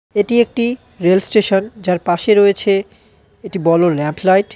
এটি একটি রেলস্টেশন যার পাশে রয়েছে একটি বড়ো ল্যাম্প লাইট .